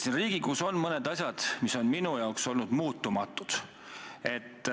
Siin Riigikogus on mõned asjad olnud minu jaoks muutumatud.